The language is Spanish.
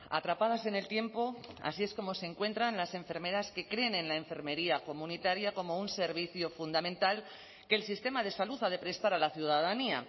atrapadas en el tiempo así es como se encuentran las enfermeras que creen en la enfermería comunitaria como un servicio fundamental que el sistema de salud ha de prestar a la ciudadanía